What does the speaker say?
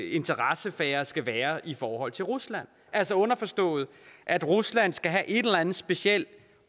interessesfære skal være i forhold til rusland altså underforstået at rusland skal have et eller andet specielt